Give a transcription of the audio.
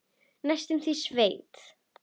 Næstum því sveit.